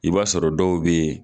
I b'a sɔrɔ dɔw bɛ.